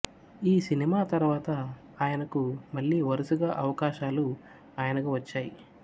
ఈ సినిమా తర్వాత ఆయనకు మళ్లీ వరుసగా అవకాశాలు ఆయనకు వచ్చాయి